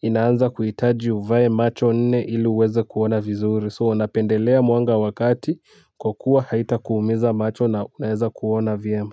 inaanza kuhitaji uvae macho nne ili uweze kuona vizuri. 'So' napendelea mwanga wa kati kwa kuwa haitakuumiza macho na unaweza kuona vyema.